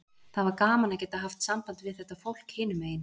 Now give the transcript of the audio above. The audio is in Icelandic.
Það var gaman að geta haft samband við þetta fólk hinum megin.